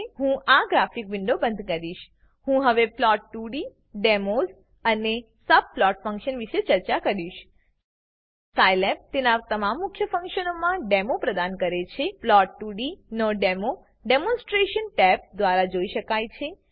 હું આ ગ્રાફિક વિન્ડોને બંધ કરીશ હું હવે plot2ડી ડેમોસ અને સબપ્લોટ ફંક્શન વિષે ચર્ચા કરીશ સાયલેબ તેના તમામ મુખ્ય ફંકશનો માટે ડેમો પ્રદાન કરે છે plot2ડી નો ડેમો ડેમોનસ્ટરેશન ટેબ દ્વારા જોઈ શકાય છે